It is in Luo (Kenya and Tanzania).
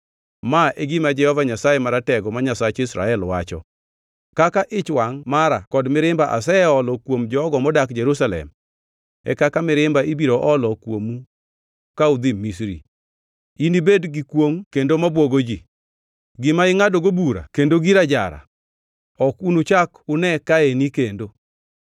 Ma e gima Jehova Nyasaye Maratego, ma Nyasach Israel, wacho: ‘Kaka ich wangʼ mara kod mirimba aseolo kuom jogo modak Jerusalem, e kaka mirimba ibiro olo kuomu ka udhi Misri. Inibed gir kwongʼ kendo mabwogo ji, gima ingʼadogo bura kendo gir ajara; ok unuchak une kaeni kendo.’